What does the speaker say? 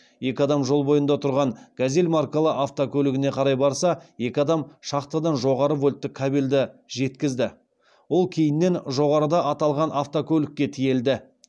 екі адам жол бойында тұрған газель маркалы автокөлігіне қарай барса екі адам шахтадан жоғары вольтты кабелді жеткізді ол кейіннен жоғарыда аталған автокөлікке тиелді